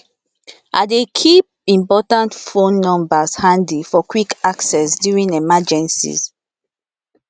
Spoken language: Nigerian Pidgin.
i dey keep important phone numbers handy for quick access during emergencies